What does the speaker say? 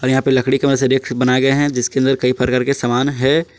और यहां लकड़ी के मदद से रैक बनाए गए है जिसके अंदर कई प्रकार के समान है।